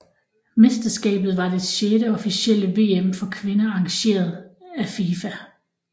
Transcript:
Mesterskabet var det sjette officielle VM for kvinder arrangeret af FIFA